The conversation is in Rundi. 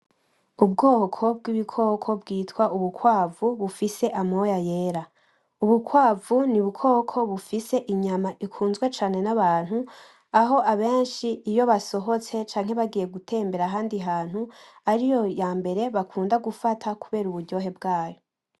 Ubwoko bwibikoko bwitwa ubukwavu bufise amoya yera ubukwavu ni ubukoko bufise inyama ikunzwe cane nabantu aho abenshi iyo basohotse cangwa bagiye gutembera ahandi hantu ariryo ryambere bakunda gufata kubera uburyohe bwayo.